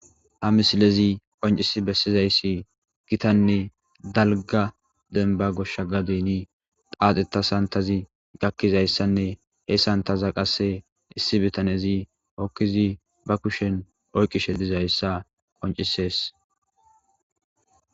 Haa misilezzi qoncciss besizayiss Gita nne dalgga denibba goshsha gadenni xaxeta sanitazzi gaakizayissa nne he sanitazza qase issi bitanezzi be kushshenni hoqqid baa kushshenni oyikishshe dizayissa qoncisses.